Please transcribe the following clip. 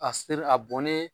A ser a bɔnnen